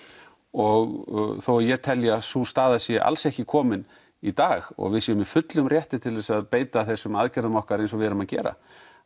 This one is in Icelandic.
og þó að ég telji að sú staða sé alls ekki komin í dag og við séum í fullum rétti til að beita þessum aðgerðum okkar eins og við erum að gera